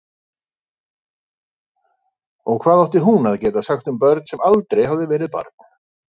Og hvað átti hún að geta sagt um börn sem aldrei hafði verið barn?